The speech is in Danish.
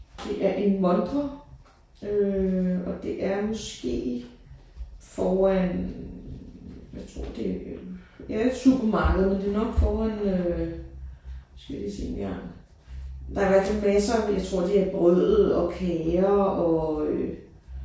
Det er en montre øh og det er måske foran jeg tror det øh det er jo et supermarked men det er nok foran øh nu skal jeg lige se engang. Der er i hvert fald masser jeg tror det er brød og kager og øh